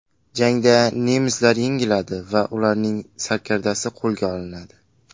Jangda nemislar yengiladi va ularning sarkardasi qo‘lga olinadi.